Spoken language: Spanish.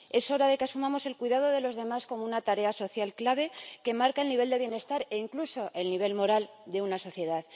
Es hora de que asumamos el cuidado de los demás como una tarea social clave que marca el nivel de bienestar e incluso el nivel moral de una sociedad.